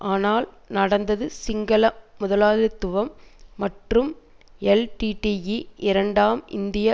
ஆனால் நடந்தது சிங்கள முதலாளித்துவம் மற்றும் எல்டிடிஇ இரண்டாம் இந்தியா